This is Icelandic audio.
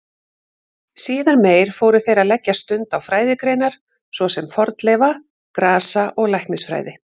Síðar meir fóru þeir að leggja stund á fræðigreinar svo sem fornleifa-, grasa- og læknisfræði.